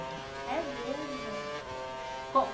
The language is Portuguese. É mesmo?